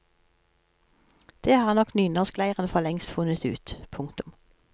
Det har nok nynorskleiren forlengst funnet ut. punktum